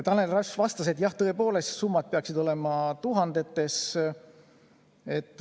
Tanel Ross vastas, et jah, tõepoolest summad peaksid olema tuhandetes.